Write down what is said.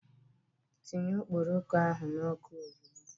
Tinye okpokoro ahu n'oku ozigbo!